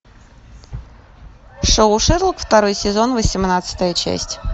шоу шерлок второй сезон восемнадцатая часть